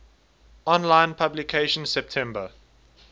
online publication september